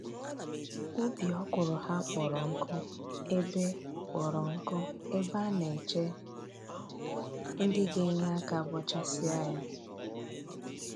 Ubi ọkwụrụ ha kpọrọ nkụ ebe kpọrọ nkụ ebe a na-eche ndị ga-enye aka bọchasịa ya